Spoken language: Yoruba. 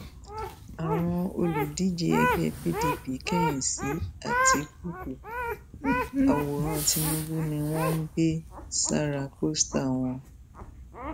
àwọn olùdíje ẹgbẹ pdp kẹyìn sí àtikukú àwòrán tìǹbù ni wọn ń gbé sára pọńsíà wọn